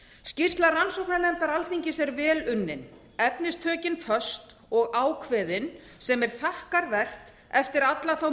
skýrsla rannsóknarnefndar alþingis er vel unnin efnistökin föst og ákveðin sem er þakkarvert eftir alla þá